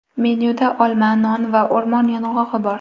Menyuda olma, non va o‘rmon yong‘og‘i bor.